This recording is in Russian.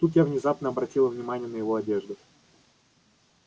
тут я внезапно обратила внимание на его одежду